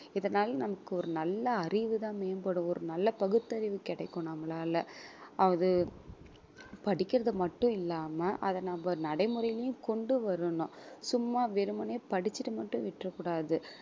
இதனால நமக்கு ஒரு நல்ல அறிவுதான் மேம்படும் ஒரு நல்ல பகுத்தறிவு கிடைக்கும் நம்மளால அது படிக்கிறது மட்டும் இல்லாம அதை நம்ம நடைமுறையிலயும் கொண்டு வரணும் சும்மா வெறுமனே படிச்சிட்டு மட்டும் விட்டுடக் கூடாது